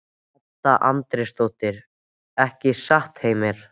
Edda Andrésdóttir:. ekki satt, Heimir?